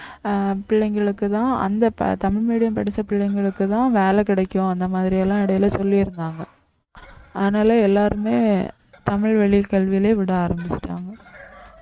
அஹ் பிள்ளைங்களுக்கு தான் அந்த ப~ தமிழ் medium படிச்ச பிள்ளைங்களுக்குத்தான் வேலை கிடைக்கும் அந்த மாதிரி எல்லாம் இடையில சொல்லி இருந்தாங்க அதனால எல்லாருமே தமிழ் வழி கல்வியிலே விட ஆரம்பிச்சுட்டாங்க